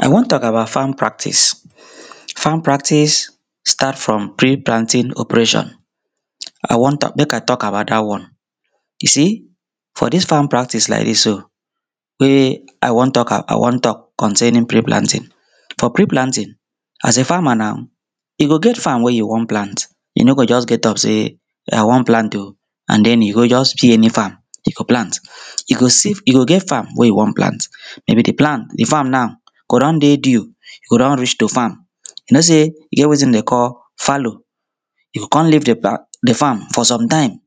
i wan tok abat farm practice farm practice start from pre planting operation i wan tuk- mek i tuk abat dat one you see for dis farm practice laik dis so wey i wan tok i wan tok concerning pre planting for pre planting as a farmer nau you go get farm wey you wan plant you no go just get up sey i wan plant oh and den you go just fill eni farm you go plant you see- you go get farm wey you wan plant maybe di plan- di farm nau go don dey due go don reach to farm you know sey dem get wetin dem dey call fallow you go con leave di farm for some taim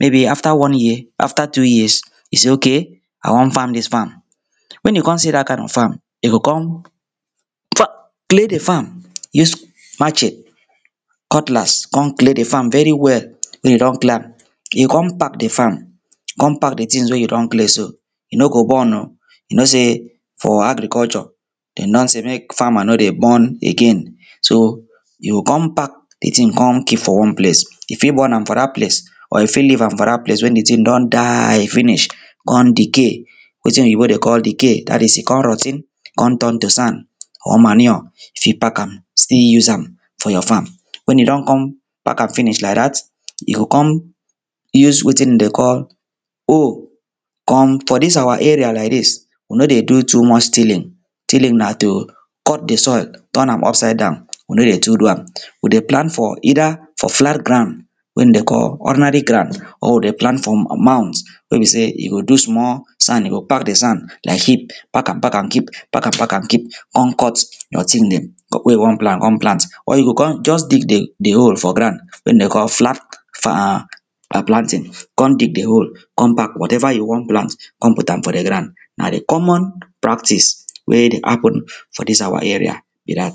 maybe afta one year afta two years you say okay i wan farm dis farm wen you con see dat kind of farm you go con clear di farm use machete cutlass come clear di farm veri well wen you don clear am you go con pack di farm con pack di tings wey you don clear so you no go burn oh you no sey for agriculture dem don say mek farmer no dey burn again so you go com pack di ting come keep for one ples you fit burn am for dat ples or you fit leave am for dat ples wen di ting don die finish con decay wetin oyibo dey call decay dat is e con rot ten con turn to sand or manure you fit pack am still use am for your farm wen you don con pack am finish laik dat you go con use wetin dem dey call oh con for dis awa area laik dis we no dey do too much tilling tilling na to cut di soil turn am upside down we no dey too do am we dey plant for either for flat grand wen dey call ordinary grand or dey plant for amount wey be sey you go do small sand you go pack di sand laik sheep pack am pack am keep pack am pack am keep con cut knoting dem wey you wan plant wen you go con just dig di hole for grand wey dey call flat planting con dig di hole con pack whateva you wan plant con put am for di grand na di common practice wey dey hapun for dis awa area be dat